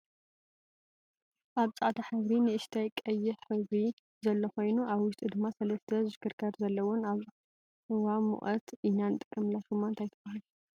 ኣብ ፃዕዳ ሕብሪ ንእሽተይ ቀይሕ ሕብሪ ዘሎ ኮይኑ ኣብ ውሽጡ ድማ ሰለስተ ዝሽክርከር ዘለዎን አብ እዋ ሙቀት ኢና ንጥቀመላ። ሹማ እንታይ ትብሃል?